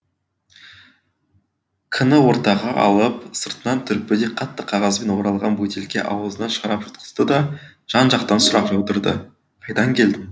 к ні ортаға алып сыртынан түрпідей қатты қағазбен оралған бөтелке аузынан шарап жұтқызды да жан жақтан сұрақ жаудырды қайдан келдің